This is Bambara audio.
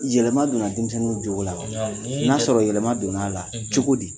Yɛlɛma donna denmisɛnninw jogo la wa ? n'a sɔrɔ yɛlɛma donn'a la, cogo di ?